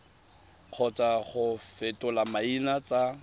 kgotsa go fetola maina tsa